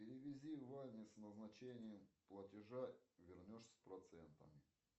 переведи ване с назначением платежа вернешь с процентом